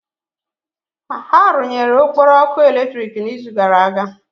Ha rụnyere Okporo ọkụ eletrik n'izu gara aga?